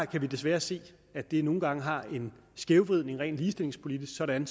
kan vi desværre se at det nogle gange har en skævvridning rent ligestillingspolitisk sådan